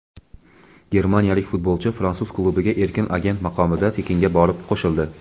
Germaniyalik futbolchi fransuz klubiga erkin agent maqomida tekinga borib qo‘shildi.